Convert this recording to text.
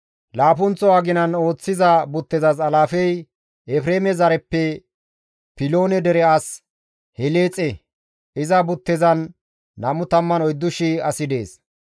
Laappunththo aginan ooththiza buttezas alaafey Efreeme zareppe Piloone dere as Heleexe; iza buttezan 24,000 asi dees.